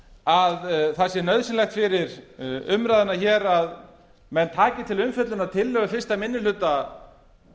að það sé nauðsynlegt fyrir umræðuna hér að menn taki til umfjöllunar tillögu fyrsti minni hluta